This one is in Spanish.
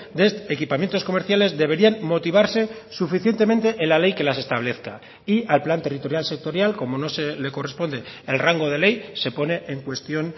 de equipamientos comerciales deberían motivarse suficientemente en la ley que las establezca y al plan territorial sectorial como no se le corresponde el rango de ley se pone en cuestión